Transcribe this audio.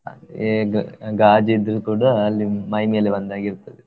ಆದ್ರೆ ಗಾ~ ಗಾಜಿದ್ದು ಕೂಡ ಅಲ್ಲಿ ಮೈಮೇಲೆ ಬಂದಾಗೆ ಇರ್ತದೆ.